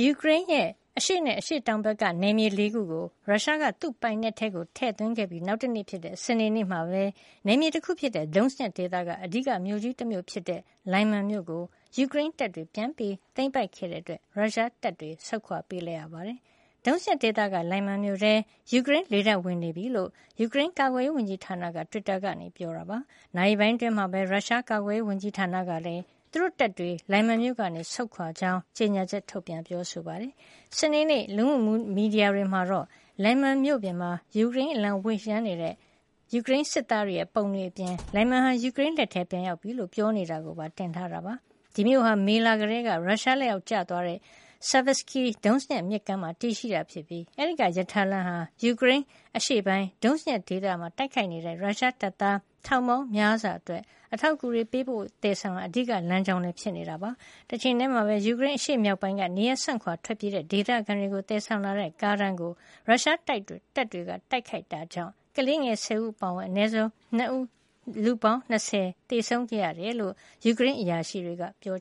ူကရိန်းရဲ့ အရှေ့နဲ့ အရှေ့တောင်ဘက်က နယ်မြေ ၄ ကို ရုရှားက သူ့ပိုင်နက်ထဲ ထည့်သွင်းခဲ့ပြီး နောက်တနေ့ဖြစ်တဲ့ စနေနေ့မှာပဲ နယ်မြေတခုဖြစ်တဲ့ Donetsk ဒေသက အဓိကမြို့ကြီးတမြို့ဖြစ်တဲ့ လိုင်မန် မြို့ (Lyman) ကို ယူကရိန်းတပ် တွေက ပြန်လည် သိမ်းပိုက်ခဲ့တဲ့ အတွက် ရုရှားတပ်တွေ ဆုတ်ခွါ ပေးလိုက်ရပါတယ်။ Donetsk ဒေသက လိုင်မန်မြို့ထဲ ယူကရိန်းလေတပ်က ဝင်နေပြီဖြစ်ကြောင်း ယူကရိန်းကာကွယ်ရေး ဝန်ကြီးဌာနက Twitter ကနေ ပြောပါတယ်။ နာရီပိုင်းအတွင်းမှာပဲ ရုရှားကာကွယ်ရေးဝန်ကြီးဌာနကလည်း သူတို့တပ်တွေ လိုင်မန်မြို့ကန ဆုတ်ခွါခဲ့ကြောင်း ကြေညာချက် ထုတ်ပြန်ခဲ့တာပါ။ စနေနေ့ လူမှုမီဒီယာတွေမှာတော့ လိုင်မန်မြို့ပြင်မှာ ယူကရိန်းအလံဝှေ့ရမ်း နေတဲ့ ယူကရိန်းစစ်သားတွေရဲ့ ပုံတွေအပြင် လိုင်မန်ဟာ ယူကရိန်းလက်ထဲ ပြန်ရောက်ပြီလို့ ပြောနေတာကိုပါ တင်ထားတာ ဖြစ်ပါတယ်။ ဒီမြို့ဟာ မေလကတည်းက ရုရှားလက်အောက် ကျသွားတဲ့ Siversky Donets မြစ်ကမ်းမှာ တည်ရှိပြီး အဲဒီကရထားလမ်းဟာလည်း ယူကရိန်း အရှေ့ပိုင်း Donetsk ဒေသမှာ တိုက်ခိုက်နေတဲ့ ရုရှားတပ်သား ထောင်ပေါင်းများစွာ အတွက် အထောက်အကူတွေ ပေးပို့သယ်ဆောင်ရာ အဓိကလမ်းကြောင်းလည်း ဖြစ်နေတာပါ။ တချိန်ထည်းမှာပဲ ယူကရိန်းအရှေ့မြောက်ပိုင်းက နေရပ်စွန့်ခွာထွက်ပြေးကြတဲ့ ဒေသခံတွေကို သယ်ဆောင်လာတဲ့ ကားတန်းကို ရုရှားတပ်တွေက တိုက်ခိုက်ခဲ့တဲ့အတွက် ကလေးငယ် ၁၀ ဦး အပါအဝင် အနည်းဆုံး လူ၂၀ သေဆုံးခဲ့တယ်လို့ ယူကရိန်းအရာရှိတွေက ပြော